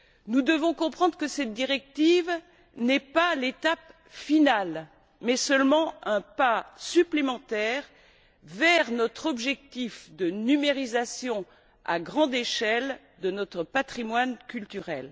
Nous devons comprendre que cette directive n'est pas l'étape finale, mais seulement un pas supplémentaire vers notre objectif de numérisation à grande échelle de notre patrimoine culturel.